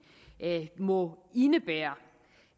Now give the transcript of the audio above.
må indebære